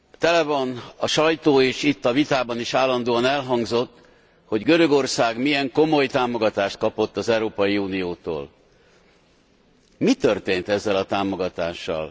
Tele van a sajtó, és itt, a vitában is állandóan elhangzott, hogy Görögország milyen komoly támogatást kapott az Európai Uniótól. Mi történt ezzel a támogatással?